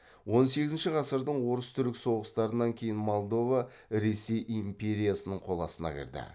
он сегізінші ғасырдың орыс түрік соғыстарынан кейін молдова ресей империясының қол астына кірді